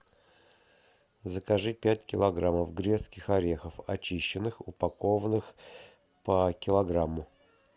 закажи пять килограммов грецких орехов очищенных упакованных по килограмму